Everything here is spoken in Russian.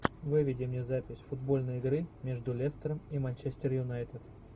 выведи мне запись футбольной игры между лестером и манчестер юнайтед